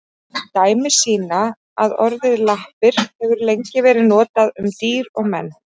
Dæmi sýna að orðið lappir hefur lengi verið notað um dýr og menn.